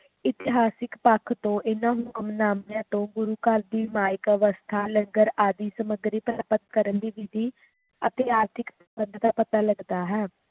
ਇਤਿਹਾਸਿਕ ਪੱਖ ਤੋਂ ਇਹਨਾਂ ਹੁਕਮਨਾਮਿਆਂ ਤੋਂ ਗੁਰੂ ਘਰ ਦੀ ਮਾਇਕ ਅਵਸਥਾ ਲੰਗਰ ਆਦਿ ਸਮਗਰੀ ਪ੍ਰਾਪਤ ਕਰਨ ਦੀ ਵਿਧੀ ਅਤੇ ਆਰਥਿਕ ਸੰਬੰਧ ਦਾ ਪਤਾ ਲਗਦਾ ਹੈ